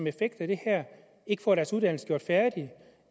effekt af det her ikke får deres uddannelse gjort færdig